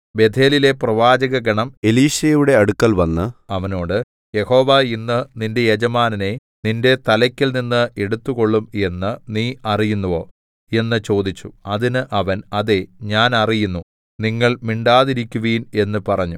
ബേഥേലിലെ പ്രവാചകഗണം എലീശയുടെ അടുക്കൽവന്ന് അവനോട് യഹോവ ഇന്ന് നിന്റെ യജമാനനെ നിന്റെ തലയ്ക്കൽനിന്ന് എടുത്തുകൊള്ളും എന്ന് നീ അറിയുന്നുവോ എന്ന് ചോദിച്ചു അതിന് അവൻ അതേ ഞാൻ അറിയുന്നു നിങ്ങൾ മിണ്ടാതിരിക്കുവിൻ എന്ന് പറഞ്ഞു